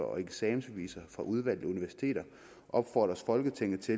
og eksamensbeviser fra udvalgte universiteter opfordres folketinget til